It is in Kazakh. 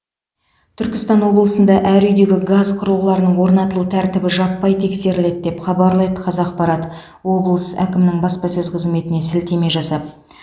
түркістан облысында әр үйдегі газ құрылғыларының орнатылу тәртібі жаппай тексеріледі деп хабарлайды қазақпарат облыс әкімінің баспасөз қызметіне сілтеме жасап